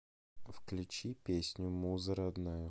включи песню муза родная